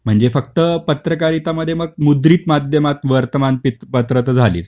म्हणजे फक्त पत्रकारिता मध्ये मग मुद्रित माध्यमात वर्तमानपत्र तर झालीच